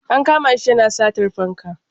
An kama shi yana satar fanka.